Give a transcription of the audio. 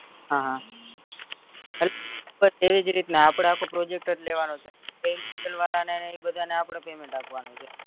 હા હ એજ રીતના આપડા આખો project જ લેવાનો છે વાર ને એ બધાને આપડે payment આપવાનું છે